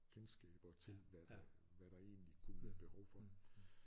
Kendskaber til hvad der hvad der egentlig kunne være behov for